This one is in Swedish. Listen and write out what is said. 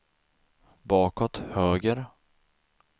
bakåt höger